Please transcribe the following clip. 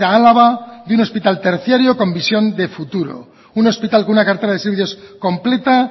a álava de un hospital terciario con visión de futuro un hospital con una cartera de servicios completa